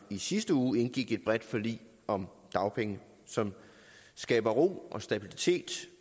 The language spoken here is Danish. i sidste uge indgik et bredt forlig om dagpenge som skaber ro og stabilitet